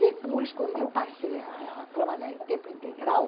Depois, quando eu passei a a trabalhar em tempo integral,